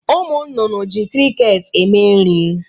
Umununu ji kriket eme nri